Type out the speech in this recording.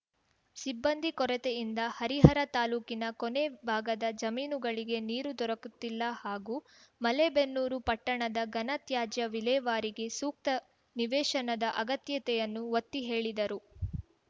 ಸಿಬ್ಬಂದಿ ಕೊರತೆಯಿಂದ ಹರಿಹರ ತಾಲೂಕಿನ ಕೊನೇ ಭಾಗದ ಜಮೀನುಗಳಿಗೆ ನೀರು ದೊರಕುತ್ತಿಲ್ಲ ಹಾಗೂ ಮಲೇಬೆನ್ನೂರು ಪಟ್ಟಣದ ಘನ ತ್ಯಾಜ್ಯ ವಿಲೇವಾರಿಗೆ ಸೂಕ್ತ ನಿವೇಶನದ ಅಗತ್ಯತೆಯನ್ನು ಒತ್ತಿ ಹೇಳಿದರು